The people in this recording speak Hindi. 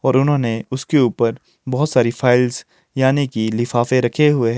और उन्होंने उसके ऊपर बहोत सारी फाइल्स यानी कि लिफाफे रखे हुए।